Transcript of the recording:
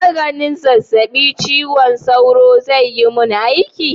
Maganin zazzabin cizon sauro zai yi mun aiki?